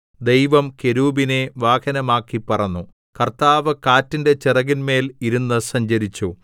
ദൈവം കെരൂബിനെ വാഹനമാക്കി പറന്നു കർത്താവ് കാറ്റിന്റെ ചിറകിന്മേൽ ഇരുന്നു സഞ്ചരിച്ചു